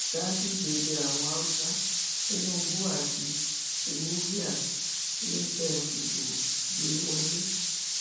ganduje bẹ àwọn haúsá tinubu àti shewilvia ni kẹ ẹ fìbò gbé wọlé